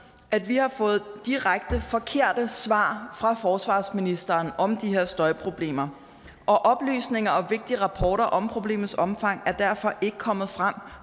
at vi har fået direkte forkerte svar fra forsvarsministeren om de her støjproblemer og oplysninger og vigtige rapporter om problemets omfang er derfor ikke kommet frem